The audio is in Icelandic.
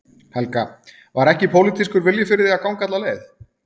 Helga: Var ekki pólitískur vilji fyrir því að ganga alla leið?